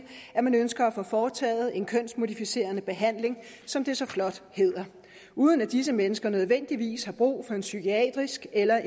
at man ønsker at få foretaget en kønsmodificerende behandling som det så flot hedder uden at disse mennesker nødvendigvis har brug for en psykiatrisk eller